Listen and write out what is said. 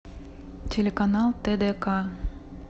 телеканал тдк